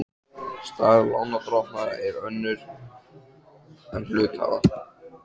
Staða lánardrottna er önnur en hluthafa.